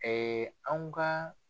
anw ka